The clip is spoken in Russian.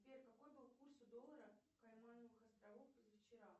сбер какой был курс у доллара каймановых островов позавчера